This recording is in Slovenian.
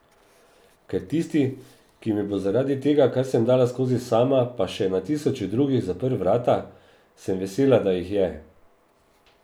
Ker tisti, ki mi bo zaradi tega, kar sem dala skozi sama, pa še na tisoče drugih, zaprl vrata, sem vesela, da jih je.